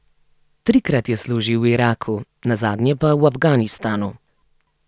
Trikrat je služil v Iraku, nazadnje pa v Afganistanu.